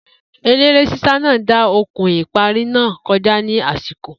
Eléré ṣíṣá náà dá okùn ìparí náà kọjá ní àsìkò